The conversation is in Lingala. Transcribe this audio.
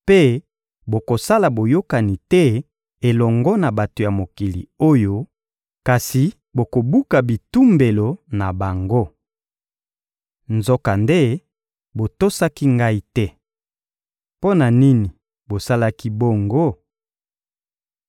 mpe bokosala boyokani te elongo na bato ya mokili oyo, kasi bokobuka bitumbelo na bango.› Nzokande, botosaki Ngai te. Mpo na nini bosalaki bongo?